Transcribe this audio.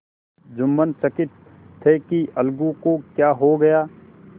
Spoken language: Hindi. जुम्मन चकित थे कि अलगू को क्या हो गया